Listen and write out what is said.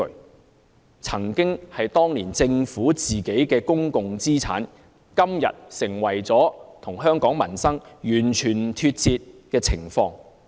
那些曾經是政府當年的公共資產，今天卻與香港民生完全脫節。